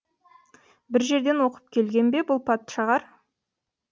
бір жерден оқып келген бе бұл патшағар